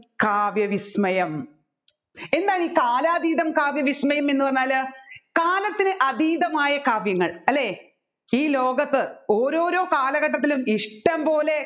കാവ്യവിസ്മയം എന്താണ് എസ് കാലാതീതം കാവ്യവിസ്മയം എന്ന് പറഞ്ഞാല് കാലത്തിന് അതീതമായ കാവ്യങ്ങൾ അല്ലെ ഈ ലോകത്ത് ഓരോരോ കാലഘട്ടത്തിലും ഇഷ്ടംപോലെ